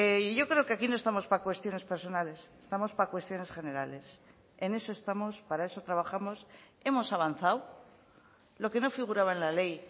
y yo creo que aquí no estamos para cuestiones personales estamos para cuestiones generales en eso estamos para eso trabajamos hemos avanzado lo que no figuraba en la ley